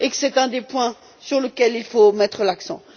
C'est un point sur lequel il faut mettre l'accent.